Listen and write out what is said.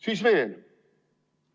Siis veel.